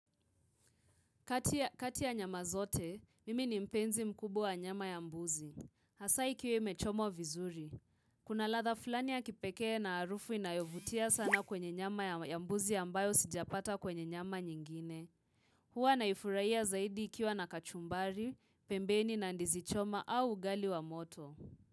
Kati ya nyama zote, mimi ni mpenzi mkubwa wa nyama ya mbuzi. Hasa ikiwa imechomwa vizuri. Kuna latha fulani ya kipekee na harufu inayovutia sana kwenye nyama ya mbuzi ambayo sijapata kwenye nyama nyingine. Huwa naifurahia zaidi ikiwa na kachumbari, pembeni na ndizi choma au ugali wa moto.